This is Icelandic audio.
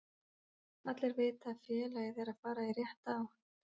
Allir vita að félagið er að fara í rétta átt.